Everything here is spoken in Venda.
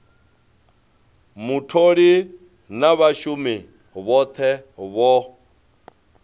mutholi na vhashumi vhothe vho